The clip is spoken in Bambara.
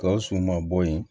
Gawusu ma bɔ yen